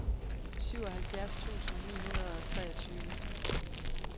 syvoghalvfjerds tusind ni hundrede og treogtyve